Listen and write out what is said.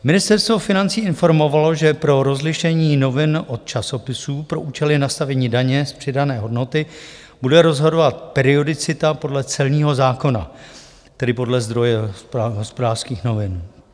Ministerstvo financí informovalo, že pro rozlišení novin od časopisů pro účely nastavení daně z přidané hodnoty bude rozhodovat periodicita podle celního zákona, tedy podle zdroje Hospodářských novin.